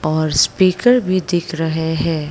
और स्पीकर भी दिख रहे हैं।